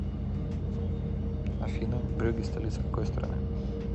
афина брюгге столица какой страны